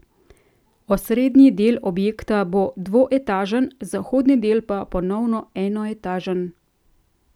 Osrednji del objekta bo dvoetažen, zahodni del pa ponovno enoetažen.